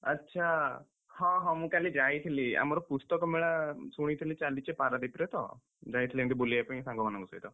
ଆଚ୍ଛା! ହଁ ହଁ, ମୁଁ କାଲି ଯାଇଥିଲି। ଆମର ପୁସ୍ତକ ମେଳା ଶୁଣିଥିଲି ଚାଲିଚି ପାରାଦ୍ୱୀପରେ ତ, ଯାଇଥିଲି ଏମତି ବୁଲିବା ପାଇଁ ସାଙ୍ଗମାନଙ୍କ ସହିତ।